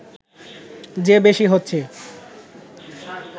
যে বেশি হচ্ছে